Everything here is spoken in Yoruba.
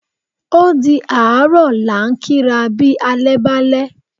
Ódi àárọ̀ la ń kí ra bí alẹ́ bàlẹ̀